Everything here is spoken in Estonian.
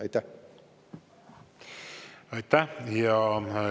Aitäh!